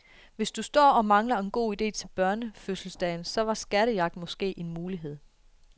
Hvis du står og mangler en god ide til børnefødselsdagen, så var skattejagt måske en mulighed.